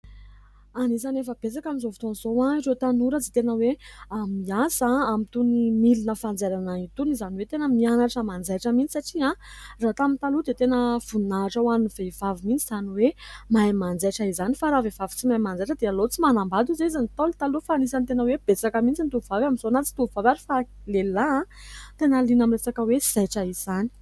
Anisany efa betsaka amin'izao fotoana izao ireo tanora izay tena hoe miasa amin' itony milina fanjairana itony. Izany hoe, tena mianatra manjaitra mihitsy satria raha tamin'ny taloha dia tena voninahitra ho an'ny vehivavy mihitsy izany hoe mahay manjaitra izany. Fa raha vehivavy tsy mahay manjaitra dia aleo tsy manambady hoy ny Ntaolo taloha. Fa anisany tena hoe besaka mihitsy amin' izao ny tovovavy amin'izao na tsy tovolahy ary fa lehilahy, tena liana amin'ny resaka hoe zaitra izany.